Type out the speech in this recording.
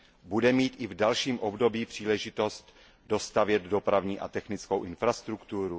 Budeme mít i v dalším období příležitost dostavět dopravní a technickou infrastrukturu?